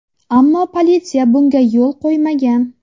Ammo politsiya bunga yo‘l qo‘ymagan.